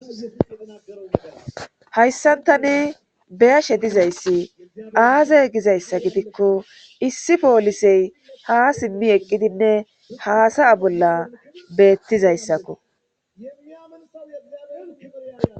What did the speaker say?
Hayssan tani beyashe dizayssi aaze gizayssa gidikko issi poolisey ha simmi eqqidinne haasaya bolla beettizayssakko.